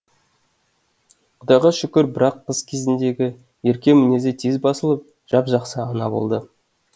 құдайға шүкір бірақ қыз кезіндегі ерке мінезі тез басылып жап жақсы ана болды